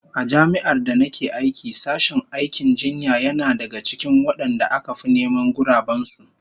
A Jami'ar da nake aiki sashen aikin jinya yana daga cikin wadanda aka fi neman guraben su